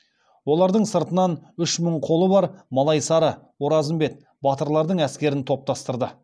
олардың сыртынан үш мың қолы бар малайсары оразымбет батырлардың әскерін топтастырды